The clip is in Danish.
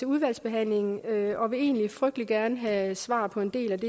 udvalgsbehandlingen og vil egentlig frygtelig gerne have svar på en del af